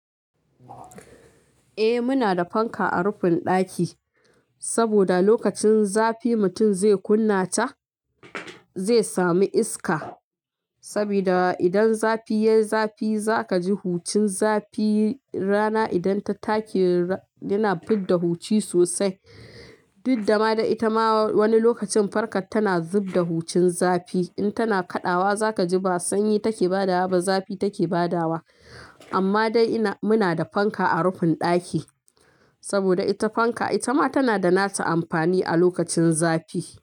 Eh muna da fanka a rufin ɗaki, saboda lokacin zafi mutum zai kunna ta zai samu iska. Sabida idan zafi yayi zafi za ka ji hucin zafi. Rana idan ta take yana fidda huci sosai. Duk da ma da ita ma wani lokacin fankar tana zub da hucin zafi. In tana kaɗawa za ka ji ba sanyi take badawa ba zafi take badawa. Amma dai muna da fanka a rufin ɗaki. Saboda ita fanka ita ma tana da nata amfani a lokacin zafi.